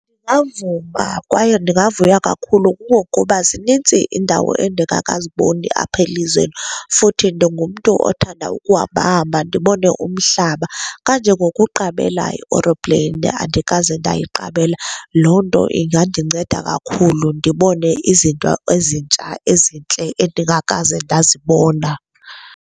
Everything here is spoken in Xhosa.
Ndingavuma kwaye ndingavuya kakhulu kungokuba zinintsi iindawo endikakaziboni apha elizweni, futhi ndingumntu othanda ukuhambahamba ndibone umhlaba. Kanje ngokuqabela ioropleyini, andikaze ndayiqabela. Loo nto ingandinceda kakhulu ndibone izinto ezintsha ezintle endingakaze ndazibona.